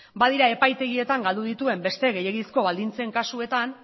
badira epaitegietan galdu dituen beste gehiegizko baldintzen kasuetan